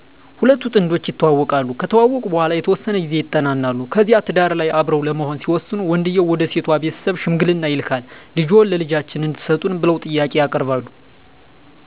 ሁለቱ ጥንዶች ይተዋወቃሉ ከተዋወቁ በኃላ የተወሠነ ጊዜ ይጠናናሉ ከዚያ ትዳር ላይ አብረው ለመሆን ሲወስኑ ወንድየው ወደ ሴቷ ቤተሠብ ሽምግልና ይላካል ልጅዎን ለልጃችን እንድትሠጡን ብለው ጥያቄ ያቀርባሉ።